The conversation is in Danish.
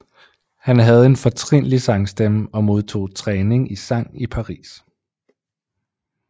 Han havde en fortrinlig sangstemme og modtog træning i sang i Paris